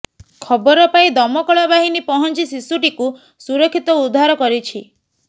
ଖବର ପାଇ ଦମକଳବାହିନୀ ପହଞ୍ଚି ଶିଶୁଟିକୁ ସୁରକ୍ଷିତ ଉଦ୍ଧାର କରିଛି